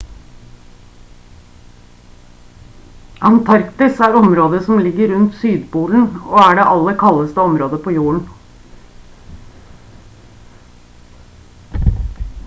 antarktis er området som ligger rundt sydpolen og er det aller kaldeste området på jorden